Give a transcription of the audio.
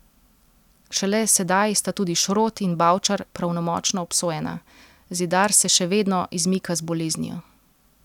Šele sedaj sta tudi Šrot in Bavčar pravnomočno obsojena, Zidar se še vedno izmika z boleznijo.